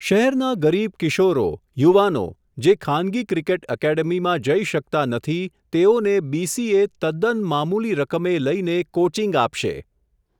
શહેરના ગરીબ કિશોરો, યુવાનો જે ખાનગી ક્રિકેટ એકેડેમીમાં જઇ શકતા નથી તેઓને બીસીએ તદ્દન મામૂલી રકમે લઇને કોચિંગ આપશે.